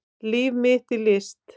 Líf mitt í list